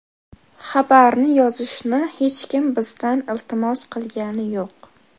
Xabarni yozishni hech kim bizdan iltimos qilgani yo‘q.